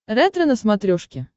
ретро на смотрешке